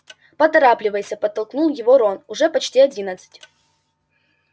поторапливайся подтолкнул его рон уже почти одиннадцать